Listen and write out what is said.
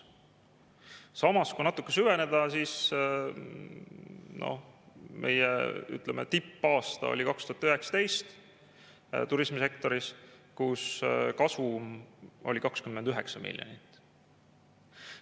Samas, kui natuke süveneda, siis meie, ütleme, tippaasta turismisektoris oli 2019, kui kasum oli 29 miljonit.